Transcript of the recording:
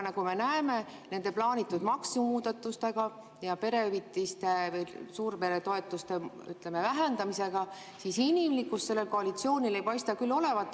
Nagu me näeme nende plaanitud maksumuudatustega ja perehüvitiste või suurperetoetuste vähendamisega, siis inimlikkust sellel koalitsioonil ei paista küll olevat.